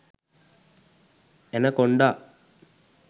anaconda